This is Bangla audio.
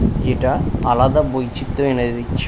এটা আলাদা বৈচিত্র এনে দিচ্ছে।